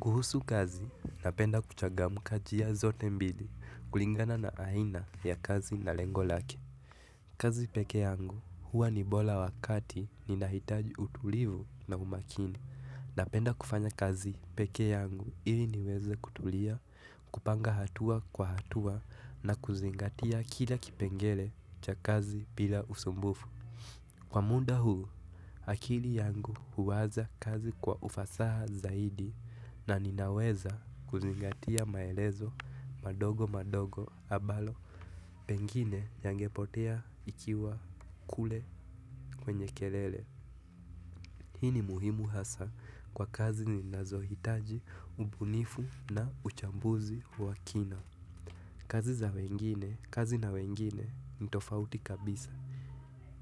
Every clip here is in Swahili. Kuhusu kazi, napenda kuchangamka njia zote mbili kulingana na aina ya kazi na lengo lake. Kazi peke yangu huwa ni bora wakati ninahitaji utulivu na umakini napenda kufanya kazi peke yangu ili niweze kutulia, kupanga hatua kwa hatua na kuzingatia kila kipengele cha kazi bila usumbufu. Kwa muda huu, akili yangu huwaza kazi kwa ufasaha zaidi na ninaweza kuzingatia maelezo madogo madogo ambayo pengine yangepotea ikiwa kule kwenye kelele. Hii ni muhimu hasa kwa kazi ninazohitaji ubunifu na uchambuzi wa kina. Kazi za wengine, kazi na wengine, ni tofauti kabisa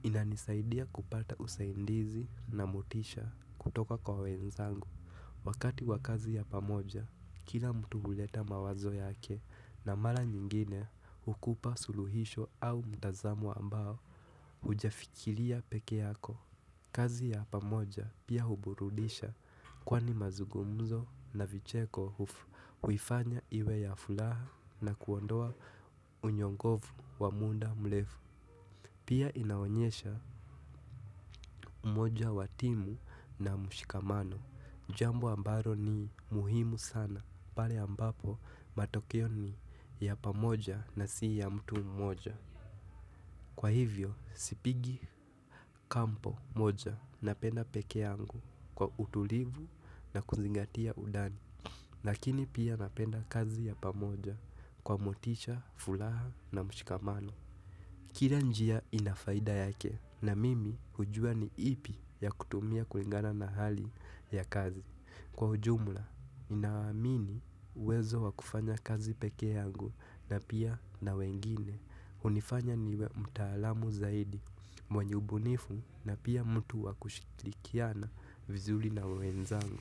inanisaidia kupata usaidizi na motisha kutoka kwa wenzangu wakati wa kazi ya pamoja, kila mtu huleta mawazo yake. Na mara nyingine hukupa suluhisho au mtazamo ambao hujafikiria peke yako. Kazi ya pamoja pia huburudisha kwani mazungumzo na vicheko huifanya iwe ya furaha na kuondoa unyonge wa muda mrefu. Pia inaonyesha umoja wa timu na mshikamano jambo ambalo ni muhimu sana pale ambapo matokeo ni ya pamoja na si ya mtu mmoja. Kwa hivyo sipigi kambi moja, napenda peke yangu kwa utulivu na kuzingatia undani. Lakini pia napenda kazi ya pamoja kwa motisha, furaha na mshikamano. Kila njia ina faida yake, na mimi hujua ni ipi ya kutumia kulingana na hali ya kazi. Kwa ujumla, naamini uwezo wa kufanya kazi peke yangu na pia na wengine. Hunifanya niwe mtaalamu zaidi, mwenye ubunifu na pia mtu wa kushirikiana vizuri na wenzangu.